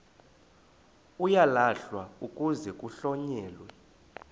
uyalahlwa kuze kuhlonyelwe